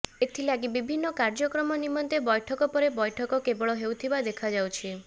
ଏଥି ଲାଗି ବିଭିନ୍ନ କାର୍ଯ୍ୟକ୍ରମ ନିମନ୍ତେ ବୈଠକ ପରେ ବୈଠକ କେବଳ ହେଉଥିବା ଦେଖାଯାଉଛି